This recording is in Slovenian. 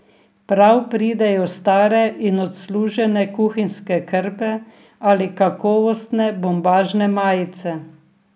Prav pridejo stare in odslužene kuhinjske krpe ali kakovostne bombažne majice.